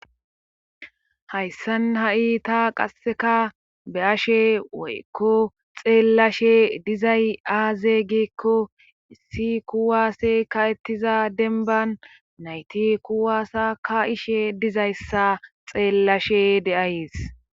Hayssan ha'i taa qasseka be ashe woykko xeellashe dizay aaze giekko issi kuwaase ka ettiza denban nayti kuwaasa ka ishe dizayssa xeellashe deays